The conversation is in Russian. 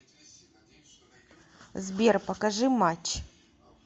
сбер покажи матч